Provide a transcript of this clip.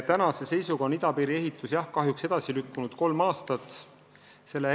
Tänase seisuga on idapiiri ehitus aga jah kahjuks kolm aastat edasi lükkunud.